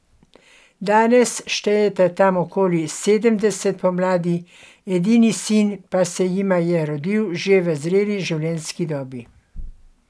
Danes štejeta tam okoli sedemdeset pomladi, edini sin pa se jima je rodil že v zreli življenjski dobi.